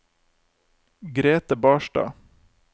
Grethe Barstad